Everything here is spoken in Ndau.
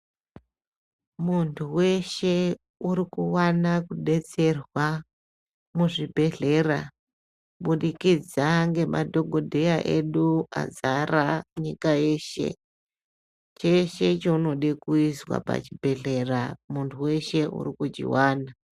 Muntu weshe urikuwana kudetserwa muzvibhedhlera kubudikidza ngemadhokodheya edu azara nyika yeshe , cheshe chaunode kuiswa pachibhedhlera muntu weshe urikuchiwana.